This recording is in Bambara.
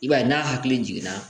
I b'a ye n'a hakili jiginna